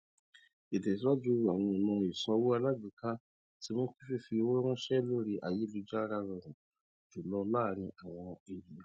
ìtẹsíwájú àwọn ọnà ìsanwó alágbèéká ti mú kí fífi owó ránṣẹ lórí ayélujára rọrùn jùlọ láàrin àwọn ènìyàn